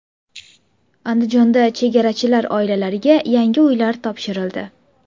Andijonda chegarachilar oilalariga yangi uylar topshirildi.